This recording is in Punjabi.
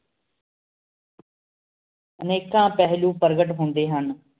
ਇੰਖਾ ਫ੍ਲੁਨ ਪਰ੍ਘ੍ਤ ਹੁੰਦੀ ਹੁਣ